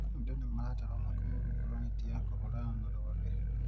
Andũ nĩmaratarwo makome rungu rwa neti ya kũhũrana na rwagĩ